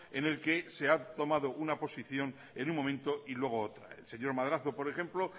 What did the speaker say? en el que se ha tomado una posición en un momento y luego otra el señor madrazo por ejemplo